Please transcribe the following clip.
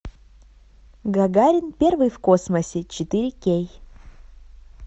гагарин первый в космосе четыре кей